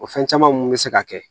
O fɛn caman mun be se ka kɛ